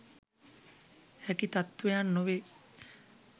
හැකි තත්ත්වයන් නොවේ.